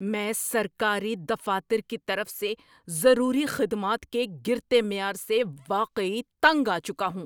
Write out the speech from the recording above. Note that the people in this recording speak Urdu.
میں سرکاری دفاتر کی طرف سے ضروری خدمات کے گرتے معیار سے واقعی تنگ آ چکا ہوں۔